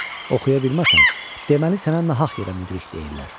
Oxuya bilməsən, deməli sənə nahaq yerə müdrik deyirlər.